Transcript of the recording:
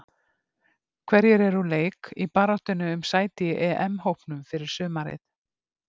Hverjir eru úr leik í baráttunni um sæti í EM-hópnum fyrir sumarið?